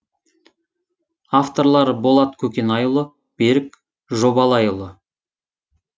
авторлары болат көкенайұлы берік жобалайұлы